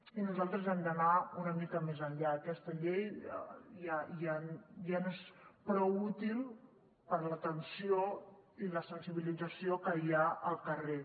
i nosaltres hem d’anar una mica més enllà aquesta llei ja no és prou útil per a l’atenció i la sensibilització que hi ha al carrer